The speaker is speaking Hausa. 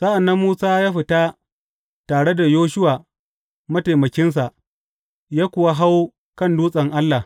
Sa’an nan Musa ya fita tare da Yoshuwa mataimakinsa, ya kuwa hau kan dutsen Allah.